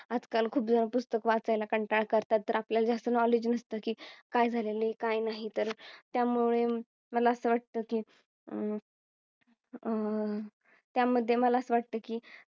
आजकाल खूप जण पुस्तक वाचायला कंटाळ करतात तर आपल्याला जास्त Knowledge नसतं की काय झालेले तर काही नाही तर त्यामुळे मला असं वाटतं की अह अह त्या मध्ये मला असं वाटतं की